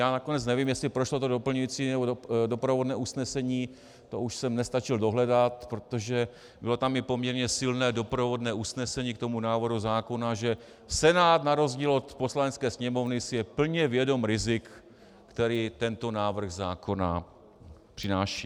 Já nakonec nevím, jestli prošlo to doplňující nebo doprovodné usnesení, to už jsem nestačil dohledat, protože bylo tam i poměrně silné doprovodné usnesení k tomu návrhu zákona, že Senát na rozdíl od Poslanecké sněmovny si je plně vědom rizik, která tento návrh zákona přináší.